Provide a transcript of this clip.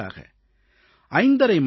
சுமாராக 5